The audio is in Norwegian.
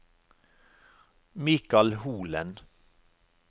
Mikal Holen